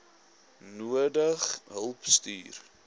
nodige hulp stuur